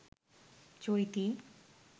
চৈতি